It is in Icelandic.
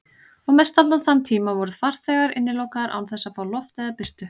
Og mestallan þann tíma voru farþegar innilokaðir án þess að fá loft eða birtu.